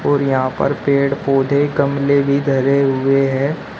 और यहां पर पेड़ पौधे गमले भी धरे हुए हैं।